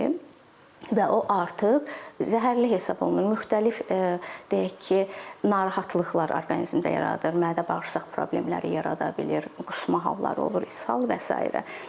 Və o artıq zəhərli hesab olunur, müxtəlif deyək ki, narahatlıqlar orqanizmdə yaradır, mədə-bağırsaq problemləri yarada bilir, qusma halları olur, ishal və sairə.